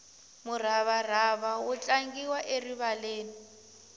muravarava wu tlangiwa erivaleni